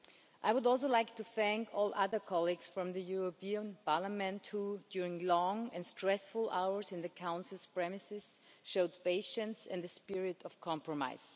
I would also like to thank all other colleagues from Parliament who, during long and stressful hours in the Council's premises, showed patience and a spirit of compromise.